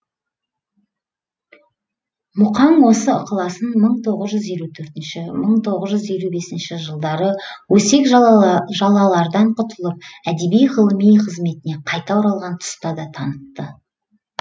мұқаң осы ықыласын мың тоғыз жүз елу төртінші мың тоғыз жүз елу бесінші жылдары өсек жалалардан құтылып әдеби ғылыми қызметіне қайта оралған тұста да танытты